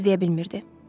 Söz deyə bilmirdi.